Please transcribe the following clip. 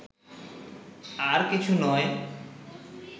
আর কিছু নয়